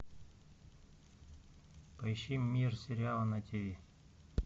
поищи мир сериала на ти ви